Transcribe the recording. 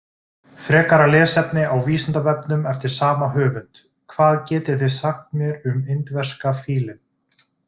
Frekara lesefni á Vísindavefnum eftir sama höfund: Hvað getið þið sagt mér um indverska fílinn?